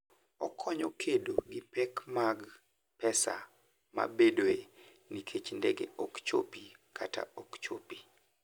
Okonyo e kedo gi pek mag pesa mabedoe nikech ndege ok chopi kata ok chopi.